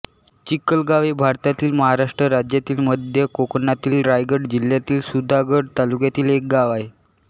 चिखलगाव हे भारतातील महाराष्ट्र राज्यातील मध्य कोकणातील रायगड जिल्ह्यातील सुधागड तालुक्यातील एक गाव आहे